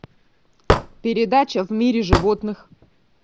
передача в мире животных